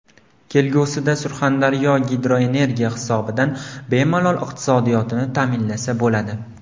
Kelgusida Surxondaryo gidroenergiya hisobidan bemalol iqtisodiyotini ta’minlasa bo‘ladi.